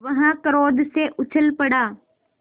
वह क्रोध से उछल पड़ा